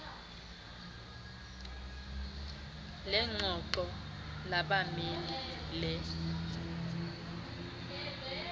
lengxoxo labameli le